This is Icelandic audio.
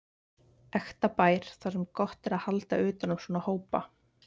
Ekta bær þar sem er gott að halda utan um svona hópa.